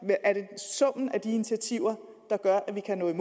er det summen af de initiativer der gør at vi kan nå i